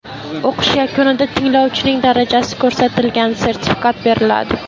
O‘qish yakunida tinglovchining darajasi ko‘rsatilgan sertifikat beriladi.